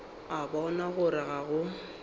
a bona gore ga go